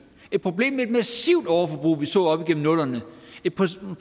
et problem med et massivt overforbrug vi så op gennem nullerne et